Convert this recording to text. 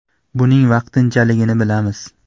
Buning vaqtinchaligini bilamiz.